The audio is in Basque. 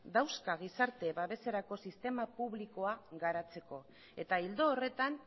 dauzka gizarte babeserako sistema publikoa garatzeko eta ildo horretan